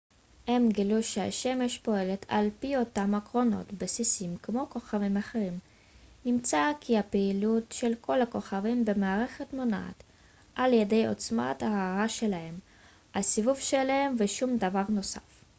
הם גילו שהשמש פועלת על פי אותם עקרונות בסיסיים כמו כוכבים אחרים נמצא כי הפעילות של כל הכוכבים במערכת מונעת על ידי עוצמת ההארה שלהם הסיבוב שלהם ושום דבר נוסף